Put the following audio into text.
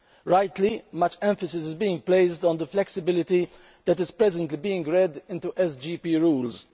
Rightly, much emphasis is being placed on the flexibility that is presently being read into SGP rules.